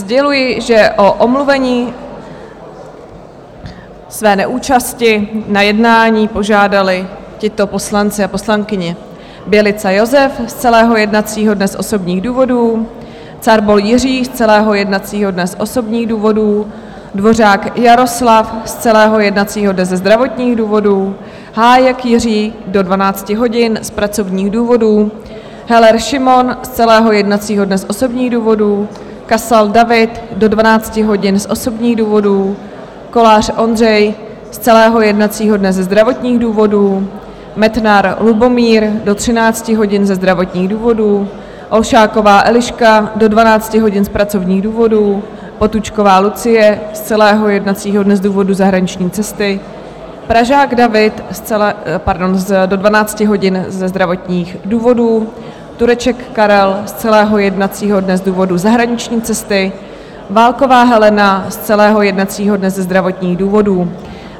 Sděluji, že o omluvení své neúčasti na jednání požádali tito poslanci a poslankyně: Bělica Josef z celého jednacího dne z osobních důvodů, Carbol Jiří z celého jednacího dne z osobních důvodů, Dvořák Jaroslav z celého jednacího dne ze zdravotních důvodů, Hájek Jiří do 12 hodin z pracovních důvodů, Heller Šimon z celého jednacího dne z osobních důvodů, Kasal David do 12 hodin z osobních důvodů, Kolář Ondřej z celého jednacího dne ze zdravotních důvodů, Metnar Lubomír do 13 hodin ze zdravotních důvodů, Olšáková Eliška do 12 hodin z pracovních důvodů, Potůčková Lucie z celého jednacího dne z důvodu zahraniční cesty, Pražák David do 12 hodin ze zdravotních důvodů, Turček Karel z celého jednacího dne z důvodu zahraniční cesty, Válková Helena z celého jednacího dne ze zdravotních důvodů.